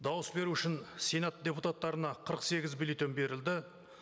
дауыс беру үшін сенат депутаттарына қырық сегіз бюллетень берілді